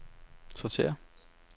sortér